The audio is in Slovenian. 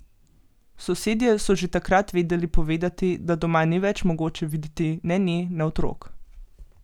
Sosedje so že takrat vedeli povedati, da doma ni več mogoče videti ne nje ne otrok.